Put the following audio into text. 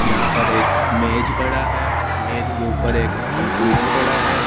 यहां पर एक मेज़ पड़ा है मेज के ऊपर एक कंप्यूटर पड़ा है।